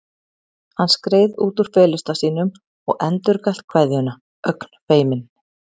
Hann skreið út úr felustað sínum og endurgalt kveðjuna, ögn feiminn.